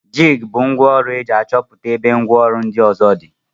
jig bu ngwa ọrụ eji achọputa ebe ngwa ọrụ ndi ọzọ di.